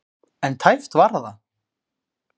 En tæpt var það.